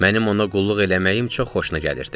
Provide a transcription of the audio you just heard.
Mənim ona qulluq eləməyim çox xoşuna gəlirdi.